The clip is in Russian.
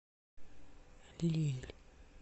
лилль